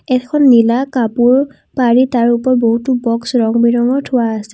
এখন নীলা কাপোৰ পাৰি তাৰ ওপৰত বহুতো বক্স ৰং বিৰঙৰ থোৱা আছে।